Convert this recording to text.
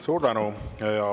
Suur tänu!